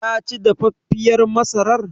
Taci dafaffiyar masarar?